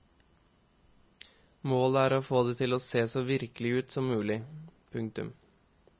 Målet er å få det til å se så virkelig ut som mulig. punktum